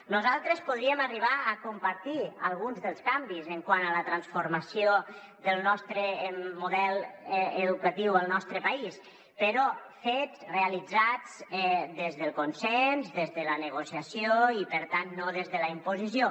nosaltres podríem arribar a compartir alguns dels canvis quant a la transformació del nostre model educatiu al nostre país però fets realitzats des del consens des de la negocia·ció i per tant no des de la imposició